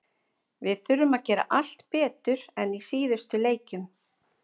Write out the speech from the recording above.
Við þurfum að gera allt betur en í síðustu leikjum.